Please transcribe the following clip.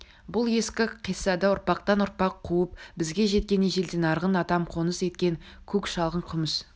бұл ескі қиссада ұрпақтан ұрпақ қуып бізге жеткен ежелден арғын атам қоныс еткен көк шалғын күміс